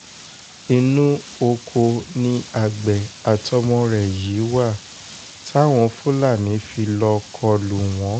inú ọkọ ni àgbẹ̀ àtọmọ rẹ̀ yìí wà táwọn fúlàní fi lọ́ọ́ kọ lù wọ́n